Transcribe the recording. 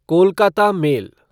Kolkata mail